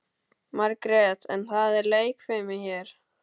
Margrét: En það er leikfimi hér.